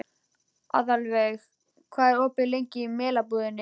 Aðalveig, hvað er lengi opið í Melabúðinni?